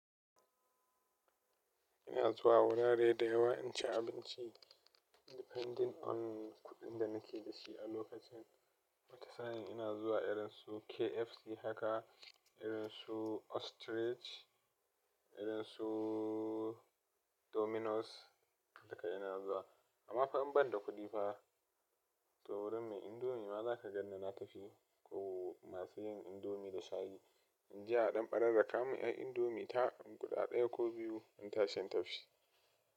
Ina zuwa wurare da yawa in ci abinci. Depending on kudin da na ke da shi a locakin ina zuwa irin su KFC haka, irin su Ostrich, irin suu Dominos, duka ina zuwa ama fa in ban da kudi fa, toh wurin mai indomie za ka gan ni na tafi. In je a dan paraka men dan indimie ta, guda daya ko biyu in tashi in tafi.